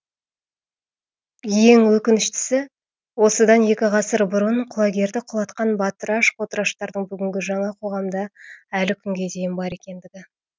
ең өкініштісі осыдан екі ғасыр бұрын құлагерді құлатқан батыраш қотыраштардың бүгінгі жаңа қоғамда әлі күнге дейін бар екендігі